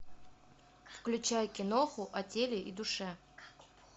включай киноху о теле и душе